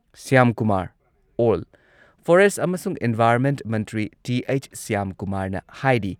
ꯁ꯭ꯌꯥꯝꯀꯨꯃꯥꯔ ꯑꯣꯜ ꯐꯣꯔꯦꯁꯠ ꯑꯃꯁꯨꯡ ꯏꯟꯚꯥꯏꯔꯟꯃꯦꯟ ꯃꯟꯇ꯭ꯔꯤ ꯇꯤ.ꯑꯩꯆ. ꯁ꯭ꯌꯥꯝꯀꯨꯃꯥꯔꯅ ꯍꯥꯏꯔꯤ